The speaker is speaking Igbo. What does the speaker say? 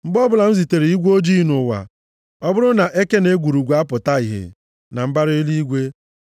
Mgbe ọbụla m zitere igwe ojii nʼụwa, ọ bụrụ na eke na egwurugwu apụta ìhè na mbara eluigwe,